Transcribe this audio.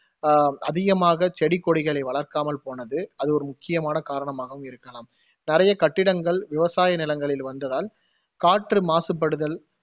அஹ் அதிகமாக செடி கொடிகளை வளர்க்காமல் போனது அது ஒரு முக்கியாமான காரணமாகவும் இருக்கலாம். நிறைய கட்டிடங்கள் விவசாய நிலங்களில் வந்ததால் காற்று மாசுபடுதல்